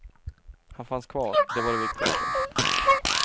Han fanns kvar, det var det viktigaste.